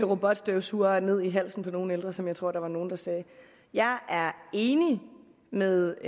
robotstøvsugere ned i halsen på nogle ældre som jeg tror der var nogle der sagde jeg er enig med